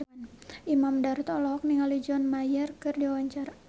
Imam Darto olohok ningali John Mayer keur diwawancara